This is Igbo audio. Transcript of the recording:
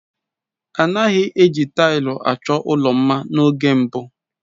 A naghị eji taịlị achọ ụlọ mma n'oge mbụ.